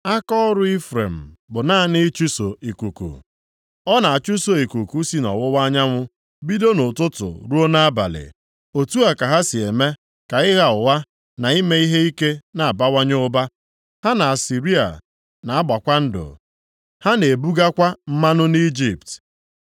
Akaọrụ Ifrem bụ naanị ịchụso ikuku, ọ na-achụso ikuku si nʼọwụwa anyanwụ bido nʼụtụtụ ruo nʼabalị. Otu a ka ha si eme ka ịgha ụgha, na ime ihe ike na-abawanye ụba. Ha na Asịrịa na-agbakwa ndụ, ha na-ebugakwa mmanụ nʼIjipt.